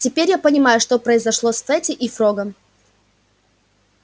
теперь я понимаю что произошло с фэтти и с фрогом